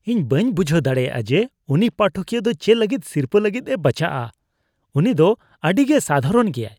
ᱤᱧ ᱵᱟᱹᱧ ᱵᱩᱡᱷᱟᱹᱣ ᱫᱟᱲᱮᱭᱟᱜᱼᱟ ᱡᱮ, ᱩᱱᱤ ᱯᱟᱴᱷᱚᱠᱤᱭᱟᱹ ᱫᱚ ᱪᱮᱫ ᱞᱟᱹᱜᱤᱫ ᱥᱤᱨᱯᱟᱹ ᱞᱟᱹᱜᱤᱫ ᱮ ᱵᱟᱪᱷᱟᱜᱼᱟ ᱾ ᱩᱱᱤ ᱫᱚ ᱟᱹᱰᱤ ᱜᱮ ᱥᱟᱫᱷᱟᱨᱚᱱ ᱜᱮᱭᱟᱭ ᱾